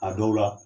A dɔw la